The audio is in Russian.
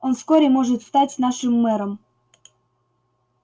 он вскоре может стать нашим мэром